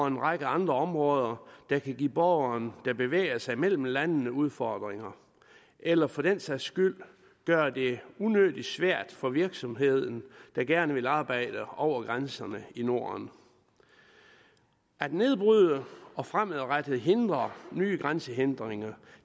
en række andre områder der kan give borgeren der bevæger sig mellem landene udfordringer eller for den sags skyld gøre det unødig svært for virksomheden der gerne vil arbejde over grænserne i norden at nedbryde og fremadrettet hindre nye grænsehindringer